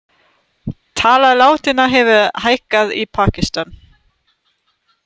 Tala látinna hefur hækkað í Pakistan